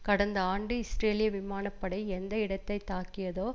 கடந்த ஆண்டு இஸ்ரேலிய விமான படை எந்த இடத்தை தாக்கியதோ